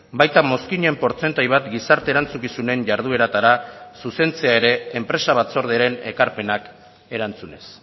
baita mozkinen portzentai bat gizarte erantzukizunen jardueratara zuzentzea ere enpresa batzordearen ekarpenak erantzunez